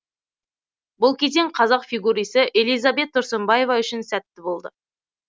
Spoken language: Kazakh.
бұл кезең қазақ фигурисі элизабет тұрсынбаева үшін сәтті болды